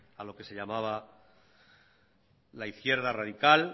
a lo que se llamaba la izquierda radical